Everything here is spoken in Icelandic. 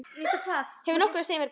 Hefurðu nokkuð að segja mér í dag?